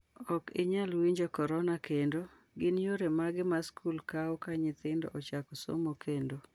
Ok inyal winjo korona kendo: Gin yore mage ma skul kawo ka nyithindo ochako somo kendo?